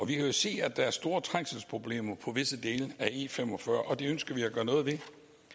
vi kan jo se at der er store trængselsproblemer på visse dele af e45 og det ønsker vi at gøre noget ved